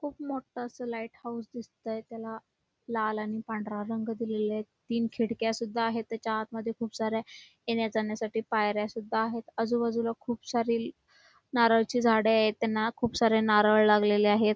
खूप मोठं असं लाईट हाऊस दिसतंय त्याला लाल आणि पांढरा रंग दिला आहे तीन खिडक्या सुद्धा आहेत त्याच्या आतमध्ये खुप साऱ्या येण्या जाण्यासाठी पायऱ्या सुद्धा आहेत आजूबाजूला खूप सारे नारळाची झाडे आहेत त्यांना खुप सारे नारळ लागलेले आहेत.